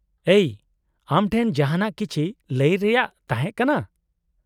-ᱮᱭ, ᱟᱢ ᱴᱷᱮᱱ ᱡᱟᱦᱟᱱᱟᱜ ᱠᱤᱪᱷᱤ ᱞᱟᱹᱭ ᱨᱮᱭᱟᱜ ᱛᱟᱦᱮᱸ ᱠᱟᱱᱟ ᱾